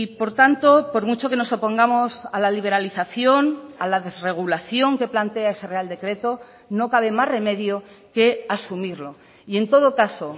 por tanto por mucho que nos opongamos a la liberalización a la desregulación que plantea ese real decreto no cabe más remedio que asumirlo y en todo caso